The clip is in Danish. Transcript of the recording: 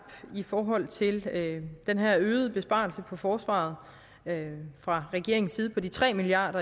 i forhold til den her øgede besparelse på forsvaret fra regeringens side på de tre milliard